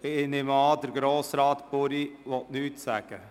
Ich nehme an, Grossrat Buri will nichts sagen.